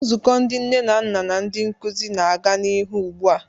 Nzukọ ndị nne na nna na ndị nkuzi na-aga n'ihu ugbu a.